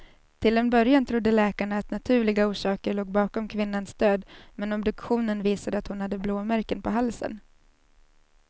Till en början trodde läkarna att naturliga orsaker låg bakom kvinnans död, men obduktionen visade att hon hade blåmärken på halsen.